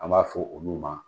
An b'a fɔ olu ma